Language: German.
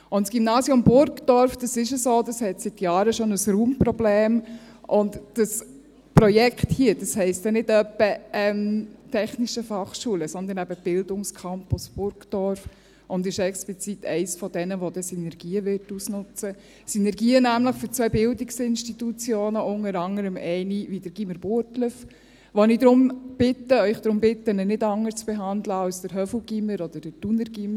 Und das Gymnasium Burgdorf, das hat seit Jahren schon ein Raumproblem, und dieses Projekt hier heisst dann nicht etwa «Technische Fachschule», sondern eben «Bildungscampus Burgdorf» und ist explizit eines von denen, das Synergien ausnutzen würde – Synergien nämlich für zwei Bildungsinstitutionen, unter anderem eine wie das Gymnasium Burgdorf, bei dem ich Sie darum bitte, es nicht anders zu behandeln als das Gymnasium Hofwil oder das Thuner Gymnasium.